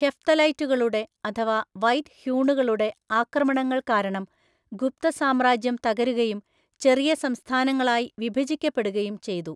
ഹെഫ്തലൈറ്റുകളുടെ, അഥവാ വൈറ്റ് ഹ്യൂണുകളുടെ ആക്രമണങ്ങൾ കാരണം ഗുപ്ത സാമ്രാജ്യം തകരുകയും ചെറിയ സംസ്ഥാനങ്ങളായി വിഭജിക്കപ്പെടുകയും ചെയ്തു.